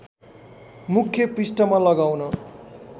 मुख्य पृष्ठमा लगाउन